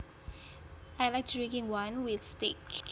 I like drinking wine with steak